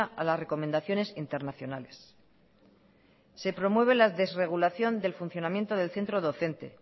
a las recomendaciones internacionales se promueve la desregulación del funcionamiento del centro docente